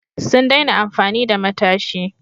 Sun daina amfani da matashi.